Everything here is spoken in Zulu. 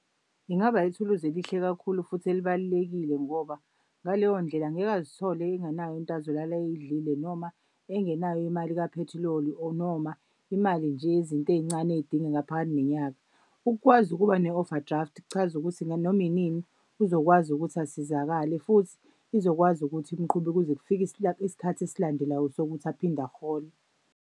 Ingaba yithuluzi elihle kakhulu futhi elibalulekile ngoba ngaleyo ndlela angeke azithole engenayo into azolala ayidlile noma engenayo imali kaphethiloli or noma imali nje yezinto ey'ncane eyidingeka phakathi nenyanga. Ukukwazi ukuba ne-overdraft kuchaza ukuthi nanoma inini uzokwazi ukuthi asizakale futhi izokwazi ukuthi imqube kuze kufike isikhathi esilandelayo sokuthi aphinde ahole.